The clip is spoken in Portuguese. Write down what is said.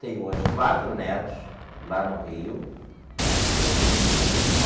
Tenho, hoje, quatro netos lá no Rio né.